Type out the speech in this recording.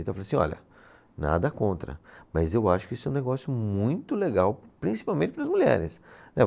Então eu falei assim, olha, nada contra, mas eu acho que isso é um negócio muito legal, principalmente para as mulheres.